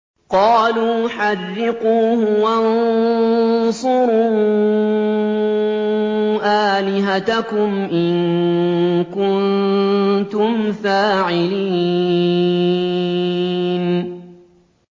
قَالُوا حَرِّقُوهُ وَانصُرُوا آلِهَتَكُمْ إِن كُنتُمْ فَاعِلِينَ